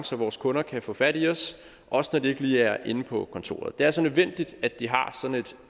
så vores kunder kan få fat i os også når de ikke lige er inde på kontoret det er altså nødvendigt at de har sådan et